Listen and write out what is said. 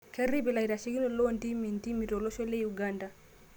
Kerrip laitashekinok loo ntimi ntimi tolosho le Uganda